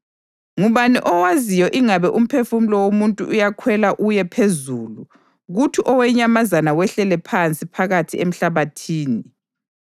Ngubani owaziyo ingabe umphefumulo womuntu uyakhwela uye phezulu kuthi owenyamazana wehlele phansi phakathi emhlabathini?”